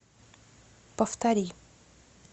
повтори